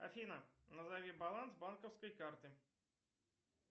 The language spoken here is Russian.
афина назови баланс банковской карты